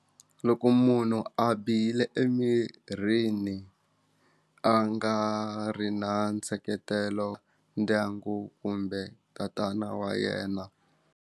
Loko munhu a bihile emirini a nga ri na nseketelo ndyangu kumbe tatana wa yena.